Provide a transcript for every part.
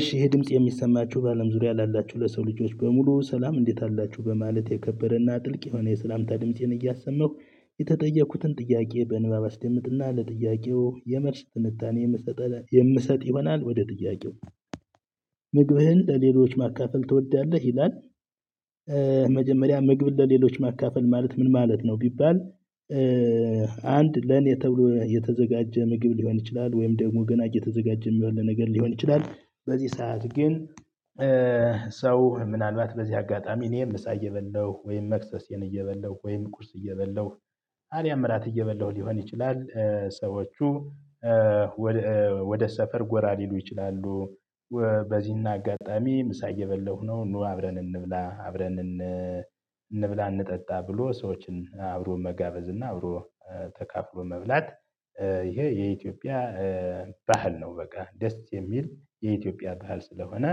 እሺ ይሄ ድምጽ የሚሰማችሁ በአለም ዙሪያ ላላችሁ ለሰው ልጆች በሙሉ ሰላም እንዴት አላችሁ በማለት የከበረና ጥልቅ የሆነ የሰላምታ ድምፄን እያሰመሁ የተጠየኩትን ጥያቄ በንባብ አስደምጥና ለጥያቄው የመለስ ትንታኔ የምሰጥ ይሆናል ወደ ጥያቄው? ምግብህን ለሌሎች ማካፈል ትወዳለህ ይላል መጀመሪያ ምግቢያ ለሌሎች ማካፈል ማለት ምን ማለት ነው ቢባል? አንድ ለእኔ ተብሎ የተዘጋጀ ምግብ ሊሆን ይችላል ወይም ደግሞ ገና እየተዘጋጀ የሚሆን ነገር ሊሆን ይችላል። በዚህ ሰዓት ግን ሰው ምናልባት በዚህ አጋጣሚ እኔም ምሳ እየበለው ወይም መክሰሴን እየበለው ወይም ቁርስ እየበላሁ አሊያም ራት እየበላሁ ሊሆን ይችላል። ሰዎቹ ወደ ሰፈር ጎራ ሊሉ ይችላሉ። በዚህና አጋጣሚ ምሳዬ እየበለው ነው ኑ አብረን እንብላ አብረን እንብላ እንጠጣ ብሎ ሰዎችን አብሮ መጋበዝ እና አብሮ ተካፍሎ መብላት። ይሄ የኢትዮጵያ ባህል ነው በቃ ደስ የሚል የኢትዮጵያ ባህል ስለሆነ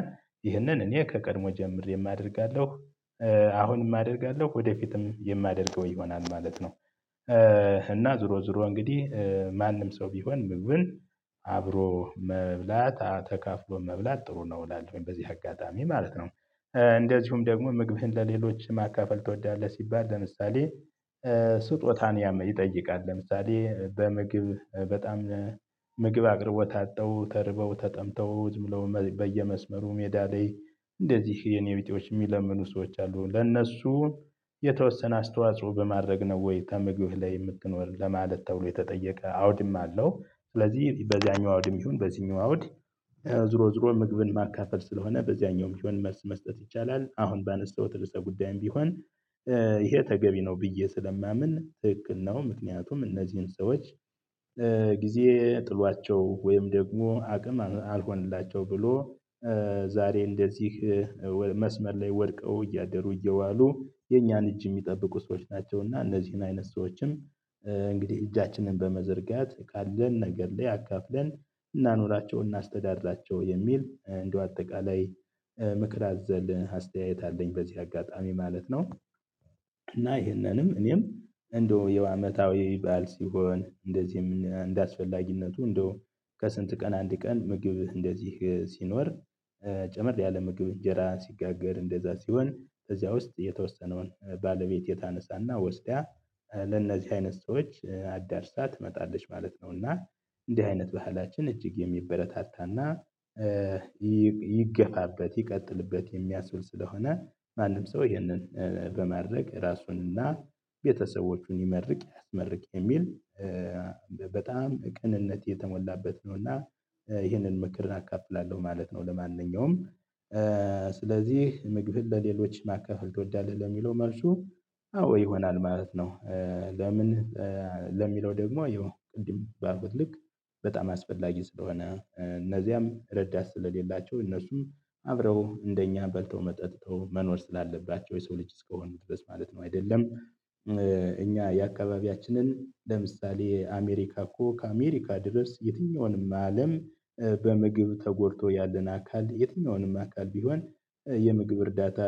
ይህንን እኔ ከቀድሞ ጀምሬ አደርጋለሁ አሁንም አደርጋለሁ ወደፊትም የማደርገው ይሆናል ማለት ነው። እና ዞሮ ዞሮ እንግዲህ ማንም ሰው ቢሆን ምግብን አብሮ መብላት ተካፍሎ መብላት ጥሩ ነው እላለሁኝ በዚህ አጋጣሚ ማለት ነው። እንደዚሁም ደግሞ ምግብህን ለሌሎች ማካፈል ትወዳለህ? ሲባል ለምሳሌ ስጦታን ያመ ይጠይቃል ለምሳሌ በምግብ በጣም ምግብ አቅርቦ አጥተው ተርበው ተጠምተው ብለው በየመስመሩ ሜዳ ላይ እንደዚህ የኔ ቢጤዎች የሚለምኑ ሰዎች አሉ ለእነሱ የተወሰነ አስተዋጽሮ በማድረግ ነው ወይ ከምግብ ላይ የምትኖር ለማለት ተብሎ የተጠየቀ አውድም አለው። ስለዚህ በዚያኛው አውድም ይሁን በዚህኛው አውድ ዞሮ ዞሮ ምግብን ማካፈል ስለሆነ በዚያኛውም ቢሆን መልስ መስጠት ይቻላል። አሁን ባነሳሁት ርዕሰ ጉዳይም ቢሆን። ይሄ ተገቢ ነው ብዬ ስለማምን ትክክል ነው። ምክንያቱም እነዚህን ሰዎች ጊዜ ጥሏቸው ወይም ደግሞ አቅም አልሆነላቸው ብሎ ዛሬ እንደዚህ መስመር ላይ ወድቀው እያደሩ እየዋሉ የኛን እጅ የሚጠብቁ ሰዎች ናቸውና እነዚህን አይነት ሰዎችም። እንግዲህ እጃችንን በመዘርጋት ካለን ነገር ላይ አካፍለን እናኖራቸው እናስተዳድራቸው የሚል እንደው አጠቃላይ ምክር አዘል አስተያየት አለኝ በዚህ አጋጣሚ ማለት ነው። እና ይሄንንም እኔም እንደው የውሃ አመታዊ ባዓል ሲሆን እንደዚህ እንደአስፈላጊነቱ እንደው ከስንት ቀን አንድ ቀን ምግብ እንደዚህ ሲኖር። ጨመር ያለ ምግብ እንጀራ ሲጋገር እንደዚያ ሲሆን ከዚያ ውስጥ የተወሰነውን ባለቤት ታነሳና ወስደ ለእነዚህ አይነት ሰዎች አዳርሳ ትመጣለች ማለት ነውና። እንዲህ አይነት ባህላችን እጅግ የሚበረታታና ይገፋበት ይቀጥልበት የሚያብል ስለሆነ። ማንም ሰው ይህንን በማድረግ ራሱንና ቤተሰቦቹን ይመርቅ ያስመርቅ የሚል በጣም ቅንነት የተሞላበት ነው። እና ይሄንን ምክር አካፍላለሁ ማለት ነው። ለማንኛውም ስለዚህ ምግብህን ለሌሎች ማካፈል ትወዳለህ ለሚለው መልሱ አዎ ይሆናል ማለት ነው። ለምን? ለሚለው ደግሞ ይሄው ቅድም ባልኩት በጣም አስፈላጊ ስለሆነ እነዚያም ረዳት ስለሌላቸው እነርሱም አብረው እንደኛ በልተው መ ጠጥተው መኖር ስላለባቸው የሰው ልጅ እስከ ሆኑ ድረስ ማለት ነው አይደለም። እኛ የአካባቢያችንን ለምሳሌ አሜሪካ እኮ ከአሜሪካ ድረስ የትኛውንም አለም በምግብ ተጎድቶ ያለን አካል የትኛውንም አካል ቢሆን የምግብ እርዳታ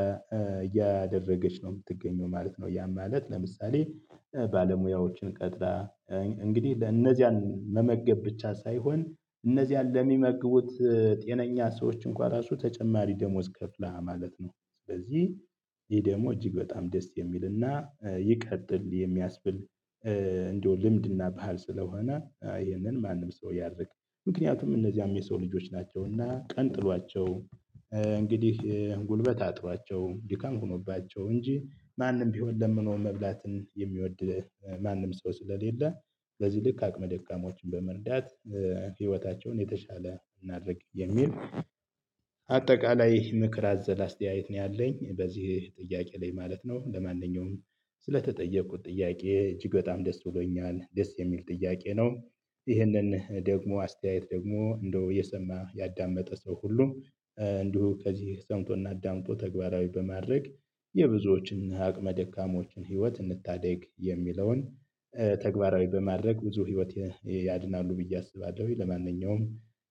እያደረገች ነው የምትገኘው ማለት ነው። ያም ማለት ለምሳሌ ባለሙያዎችን ቀጥራ እንግዲህ ለእነዚያን መመገብ ብቻ ሳይሆን እነዚህን ለሚመግቡት ጤነኛ ሰዎች እንኳን ራሱ ተጨማሪ ደሞዝ ከፍላ ማለት ነው። ስለዚህ ይሄ ደግሞ እጅግ በጣም ደስ የሚልና ይቀጥል የሚያስብል። እንደው ልምድና ባህል ስለሆነ ይህንን ማንም ሰው ያድርግ። ምክንያቱም እነዚህም የሰው ልጆች ናቸውና ቀን ጥሏቸው እንግዲህ ጉልበት አጥሯቸው ድካም ሆኖባቸው እንጂ ማንም ቢሆን ለምኖ መብላትን የሚወድ ማንም ሰው ስለሌለ። በዚህ ልክ አቅመ ደካሞችን በመርዳት ህይወታቸውን የተሻለ እናድርግ የሚል። አጠቃላይ ምክር አዘል አስተያየት ነው ያለኝ በዚህ ጥያቄ ላይ ማለት ነው። ለማንኛውም ስለተጠየቁት ጥያቄ እጅግ በጣም ደስ ብሎኛል ደስ የሚል ጥያቄ ነው። ይህንን ደግሞ አስተያየት ደግሞ እንደው እየሰማ ያዳመጠ ሰው ሁሉ እንዲሁ ከዚህ ሰምቶና አዳምጦ ተግባራዊ በማድረግ የብዙዎችን አቅመ ደካሞችን ህይወት እንታደግ የሚለውን። ተግባራዊ በማድረግ ብዙ ህይወት ያድናሉ ብዬ አስባለሁኝ። ለማንኛውም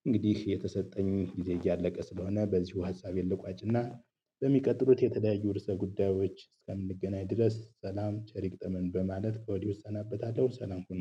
እንግዲህ የተሰጠኝ ጊዜ እያለቀ ስለሆነ በዚሁ ሀሳቤን ልቋጭና። በሚቀጥሉት የተለያዩ እርዕሰ ጉዳዮች እስከምንገናኝ ድረስ ሰላም ቸሪ ይግጠመን በማለት ከወዲህ እሰናበታለሁ። ሰላም ሁኑ።